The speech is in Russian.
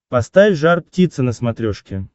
поставь жар птица на смотрешке